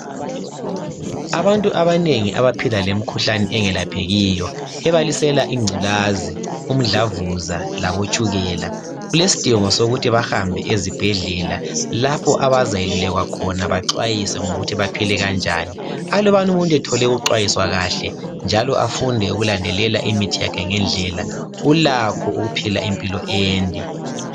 Abantu abanengi abaphila lemikhuhlane engelaphekiyo ebalisela ingculaza, umdlavuza labotshukela kulesidingo sokuthi bahambe ezibhendlela lapha abazayelulekwa khona bacwayiswe ngokuthi baphile kanjani aluba umuntu ethole ukucwayiswa kahle njalo afunde ukulandelela imithi yakhe ngendlela ulakho ukuphila impilo ende.